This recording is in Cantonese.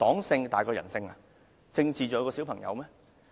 政治是否真的較小朋友重要？